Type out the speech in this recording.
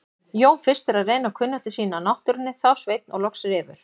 Jón fyrstur að reyna kunnáttu sína á náttúrunni, þá Sveinn og loks Refur.